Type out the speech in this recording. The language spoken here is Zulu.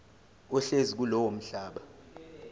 ohlezi kulowo mhlaba